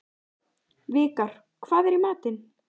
Vikar, hvað er í matinn?